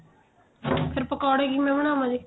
ਫੇਰ ਪਕੋੜੇ ਕਿਵੇਂ ਬਣਾਵਾ ਗੇ